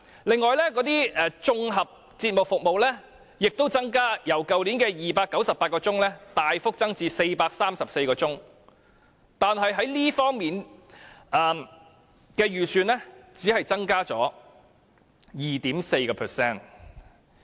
另外，綜合節目服務亦有所增加，由去年的298小時大幅增至434小時，但是，這方面的預算只是增加 2.2%。